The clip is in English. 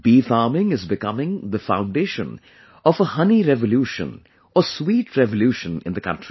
Bee farming is becoming the foundation of a honey revolution or sweet revolution in the country